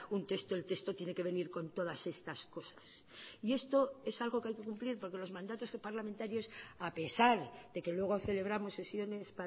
un texto el texto tiene que venir con todas estas cosas y esto es algo que hay que cumplir porque los mandatos parlamentarios a pesar de que luego celebramos sesiones